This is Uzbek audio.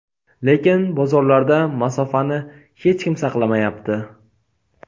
lekin bozorlarda masofani hech kim saqlamayapti.